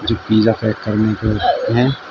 Pizza pack करने के हैं।